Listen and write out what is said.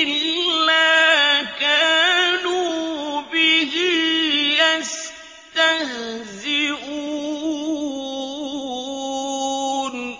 إِلَّا كَانُوا بِهِ يَسْتَهْزِئُونَ